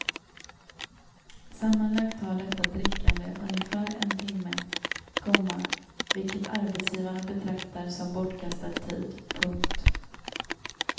Sammanlagt tar detta drickande ungefär en timme, komma vilket arbetsgivarna betraktar som bortkastad tid. punkt